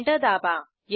enter दाबा